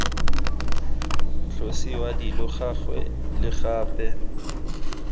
tlosiwa dilo gangwe le gape